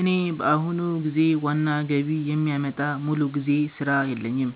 እኔ በአሁኑ ጊዜ ዋና ገቢ የሚያመጣ ሙሉ ጊዜ ሥራ የለኝም፣